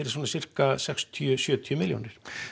svona sirka sextíu til sjötíu milljónum